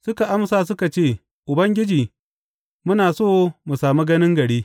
Suka amsa suka ce, Ubangiji, muna so mu sami ganin gari.